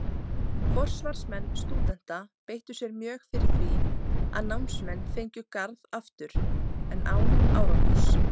Forsvarsmenn stúdenta beittu sér mjög fyrir því, að námsmenn fengju Garð aftur, en án árangurs.